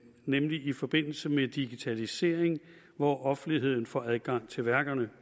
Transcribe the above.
nemlig i forbindelse med digitalisering hvor offentligheden får adgang til værkerne